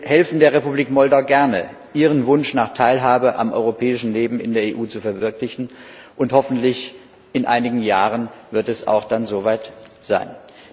Wir helfen der Republik Moldau gerne, ihren Wunsch nach Teilhabe am europäischen Leben in der Europäischen Union zu verwirklichen, und hoffentlich wird es in einigen Jahren dann auch so weit sein.